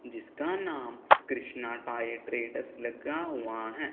जिसका नाम Krishna tyre traders लगा हुआ है।